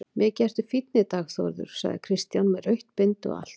Mikið ertu fínn í dag Þórður, sagði Kristján, með rautt bindi og allt.